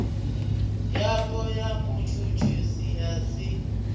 yapo ya mutshutshisi ya si